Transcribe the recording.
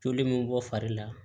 Joli min bɔ fari la